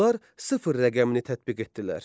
Onlar sıfır rəqəmini tətbiq etdilər.